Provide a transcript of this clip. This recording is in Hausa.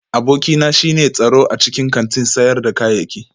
Abokina shine tsaro a cikin kantin sayar da kayayyaki